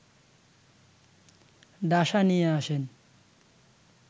ডাসা নিয়ে আসেন